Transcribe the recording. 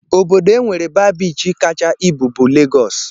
Obodo e nwere baa biichi kacha ibu bụ Legọs